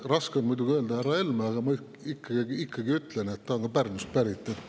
Raske on muidugi öelda "härra Helme", aga ma ikkagi ütlen, ta on ka Pärnust pärit.